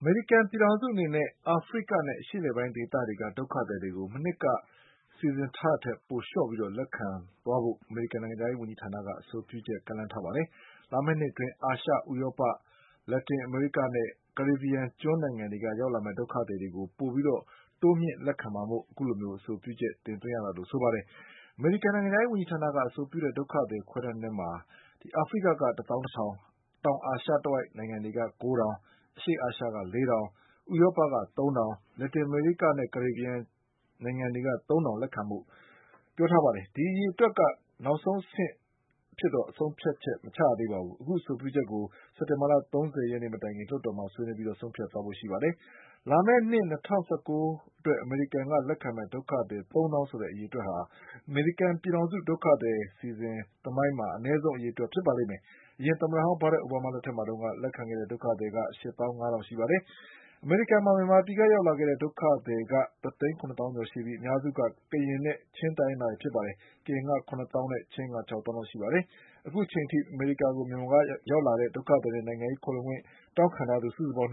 မေရိကန်ပြည်ထောင်စုအနေနဲ့ အာဖရိကနဲ့ အရှေ့အလယ်ပိုင်းဒေသတွေက ဒုက္ခသည်တွေကို မနှစ်ကစီစဉ်ထားတာ ထက် ပိုလျှော့ပြီးလက်ခံသွားဖို့ အမေရိကန်နိုင်ငံခြားရေးဝန်ကြီးဌာနက အဆိုပြုချက်ကမ်းလှမ်းထားပါတယ်။ လာမယ့် နှစ်အတွင်း အာရှ၊ ဥရောပ၊ လက်တင်အမေရိကနဲ့ ကာရေဗီယန်ကျွန်းနိုင်ငံတွေကရောက်လာမယ့်ဒုက္ခသည်တွေကို ပို တိုးမြှင့်ပြီးလက်ခံမှာမို့ အခုလိုအဆိုပြုရတာလို့ဆိုပါတယ်။ အမေရိကန်နိုင်ငံခြားရေးဝန်ကြီးဌာနက အဆိုပြုတဲ့ဒုက္ခသည် ခွဲတမ်းထဲမှာ အာဖရိကက တသောင်းတထောင်၊ တောင်အာရှတဝိုက် နိုင်ငံတွေ ကိုးထောင်၊ အရှေ့အာရှက လေးထောင်၊ ဥရောပက သုံးထောင်၊ လက်တင်အမေရိက နဲ့ ကာရေဗီယန်နိုင်ငံတွေက သုံးထောင်လက်ခံဖို့အဆိုပြုထားတာပါ။ ဒီအရေ အတွက်က နောက်ဆုံးအဆင့်ဆုံးဖြတ်ချက်တော့ မဟုတ်သေးပါဘူး။ ဒီအဆို ပြုချက်ကို အခုစက်တင်ဘာလ၃၀ရက်နေ့ မတိုင်ခင် လွှတ်တော်မှာဆွေးနွေးပြီးဆုံးဖြတ်သွားမှာပါ။ လာမယ့်နှစ် ၂၀၁၉ခုနှစ်အတွက် အမေရိကန်ကလက်ခံမယ့် ဒုက္ခ သည် သုံးသောင်းဆိုတဲ့ အရေအတွက်ဟာ အမေရိကန်ပြည်ထောင်စု ဒုက္ခသည်အစီအစဉ်သမိုင်းမှာ အနည်းဆုံးအရေ အတွက်ဖြစ်ပါလိမ့်မယ်။ အရင်သမ္မဟောင်း Barack Obama လက်ထက်မှာတုန်းက လက်ခံခဲ့တဲ့ဒုက္ခသည်က ရှစ်သောင်းငါးထောင်ပါ။ အမေရိကန်မှာ ဒီနေ့အထိ မြန်မာနိုင်ငံကဒုက္ခသည်က တသိန်း၇သောင်းကျော်ရှိပြီး အများစုက ကရင်နဲ့ ချင်းတိုင်းရင်းသားတွေ ဖြစ်ပါတယ်။ ကရင်က ၇သောင်းနဲ့ ချင်းက ၆သောင်း လောက် ရှိပါတယ်။ အခုအချိန်အထိ အမေရိကန်ကို မြန်မာနိုင်ငံကရောက်လာတဲ့ ဒုက္ခသည်နဲ့ နိုင်ငံရေး ခိုလှုံခွင့် တောင်းခံသူ စုစုပေါင်း